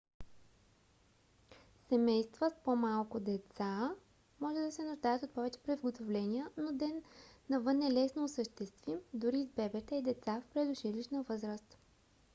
семейства с по-малки деца може да се нуждаят от повече приготовления но ден навън е лесно осъществим дори с бебета и деца в предучилищна възраст